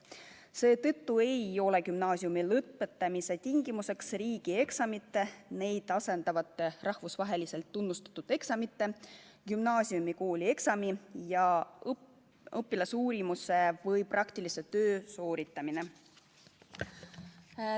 Seetõttu ei ole gümnaasiumi lõpetamise tingimuseks riigieksamite, neid asendavate rahvusvaheliselt tunnustatud eksamite, gümnaasiumi koolieksami ja õpilasuurimuse või praktilise töö sooritamine.